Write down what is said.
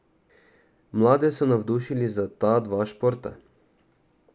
Mlade so navdušili za ta dva športa.